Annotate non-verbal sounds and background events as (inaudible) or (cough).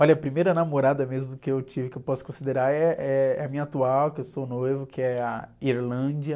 Olha, a primeira namorada mesmo que eu tive, que eu posso considerar, eh, eh, é a minha atual, que eu sou noivo, que é a. (unintelligible)